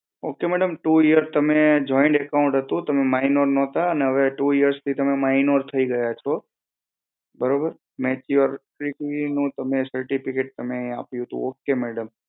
ok madam two year તમે joint account હતું તમે minor નહોતા અને હવે તમે two year થી minor થઇ ગયા છો બરોબર mature નું certificate તમે આપ્યું હતું okay madam. હા તો madam હવે તમે મને જણાવી શકો છો હું તમને શું માહિતી આપું